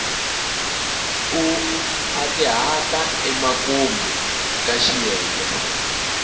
u nkhwatihata emakumu ka xiyenge